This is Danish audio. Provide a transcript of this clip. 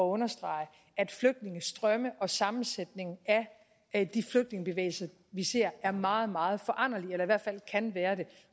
understrege at flygtningestrømme og sammensætningen af de flygtningebevægelser vi ser er meget meget foranderlige eller i hvert fald kan være det